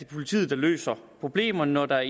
politiet der løser problemerne når der